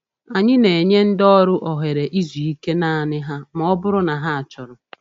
Anyị na-enye ndị ọrụ ohere izu ike naanị ha ma ọ bụrụ na ha chọrọ.